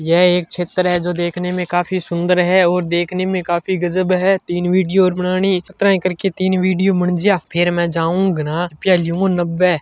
यह एक चित्र है जो देखने में काफी सुन्दर है और देखने मेंकाफी गजब है तीन वीडियो और बनानी --